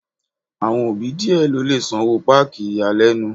Àwọn òbí díè ló lè sanwó páàkì ìyàlẹ́nu.